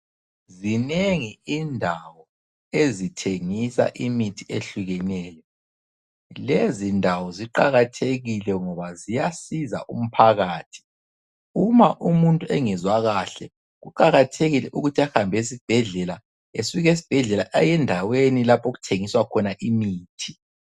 Zinengi indawo ezithengisa imithi ehlukeneyo. Lezindawo ziqakathekile ngoba ziyasiza umphakathi. Uma umuntu engezwa kahle, kuqakathekile ukuthi ahambe esibhedlela, esuka esibhedlela ayendaweni lapho okuthengiswa khona imithi.